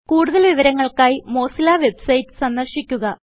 കൂടുതൽ വിവരങ്ങൾക്കായി Mozilla website സന്ദർശിക്കുക